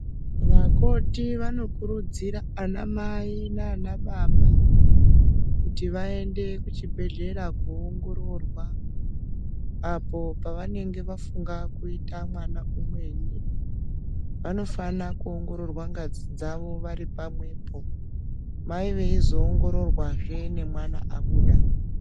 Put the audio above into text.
Vakoti vanokurudzira anamai nanababa kuti vaende kuchibhedhlera koongororwa, apo pavanenge vafunga kuita mwana umweni. Vanofana kuongororwa ngazi dzavo vari pamwepo. Mai veizoongororwazve nemwana abuda.